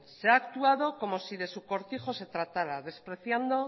se ha actuado como si de su cortijo se tratara despreciando